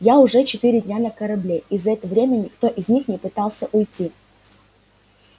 я уже четыре дня на корабле и за это время никто из них не пытался уйти